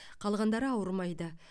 қалғандары ауырмайды